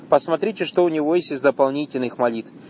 посмотрите что у него есть из дополнительных молитв